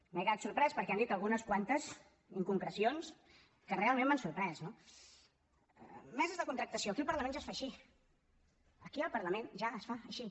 m’he quedat sorprès perquè han dit algunes quantes inconcrecions que realment m’han sorprès no meses de contractació aquí al parlament ja es fa així aquí al parlament ja es fa així